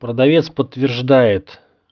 продавец подтверждает